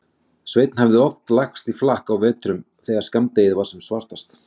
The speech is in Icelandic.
Sveinn hafði oft lagst í flakk á vetrum þegar skammdegið var sem svartast.